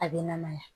A bɛ namaya